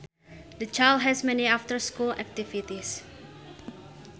The child has many after school activities